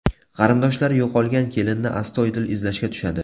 Qarindoshlari yo‘qolgan kelinni astoydil izlashga tushadi.